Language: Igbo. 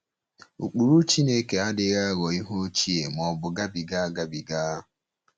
Ụkpụrụ Chineke adịghị aghọ ihe ochie ma ọ bụ gabiga agabiga.